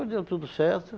deu tudo certo.